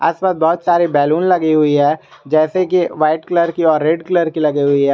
इसमें बहोत सारी बैलून लगी हुई है जैसे कि व्हाइट कलर की और रेड कलर की लगी हुई है।